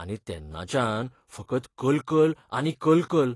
आनी तेन्नाच्यान फकत कलकल आनी कलकल!